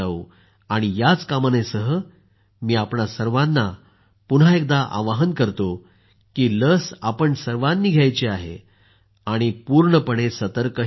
याच कामनेसह मी आपल्या सर्वांना पुन्हा एकदा आग्रह करतो की लस आपण सर्वांनी घ्यायची आहे आणि पूर्णपणे सतर्कही राहायचं आहे